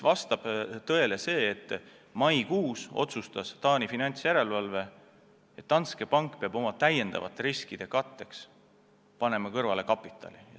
Vastab tõele, et maikuus otsustas Taani finantsjärelevalve, et Danske Bank peab oma täiendavate riskide katteks kapitali kõrvale panema.